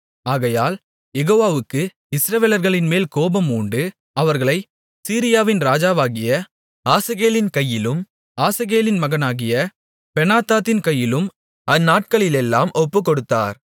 ஆகையால் யெகோவாவுக்கு இஸ்ரவேலர்களின்மேல் கோபமூண்டு அவர்களைச் சீரியாவின் ராஜாவாகிய ஆசகேலின் கையிலும் ஆசகேலின் மகனாகிய பெனாதாத்தின் கையிலும் அந்நாட்களிலெல்லாம் ஒப்புக்கொடுத்தார்